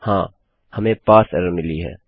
हाँ हमें parse error मिली है